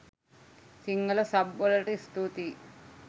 Sinhala sub වලට ස්තූතියි.